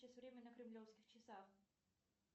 сейчас время на кремлевских часах